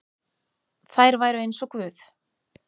Þær væru eins og guð.